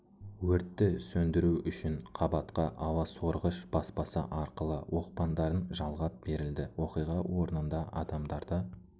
өрті сөндіру үшін қабатқа ауа сорғыш баспасы арқылы оқпандарын жалғап берілді оқиға орнында адамдарды